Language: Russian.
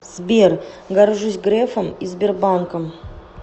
сбер горжусь грефом и сбербанком